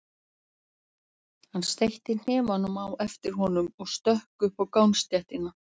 Hann steytti hnefana á eftir honum og stökk upp á gangstéttina.